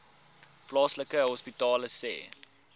plaaslike hospitale sê